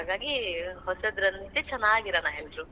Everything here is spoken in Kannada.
ಹಾಗಾಗಿ, ಹೊಸದರಂತೆ ಚೆನಾಗಿರೋಣ ಎಲ್ರೂ.